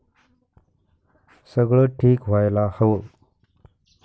सगळं ठीक व्हायला हवं.